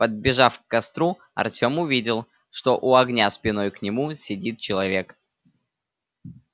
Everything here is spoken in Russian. подбежав к костру артём увидел что у огня спиной к нему сидит человек